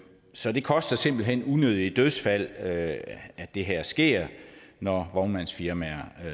så det koster simpelt hen unødige dødsfald at at det her sker når vognmandsfirmaer